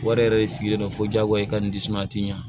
Wari yɛrɛ de sigilen don fo diyagoya i ka nin disi a tɛ ɲa